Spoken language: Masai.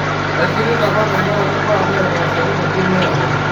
Kaishirita apa tenkaraki imbaa naitaasaki tentim earroi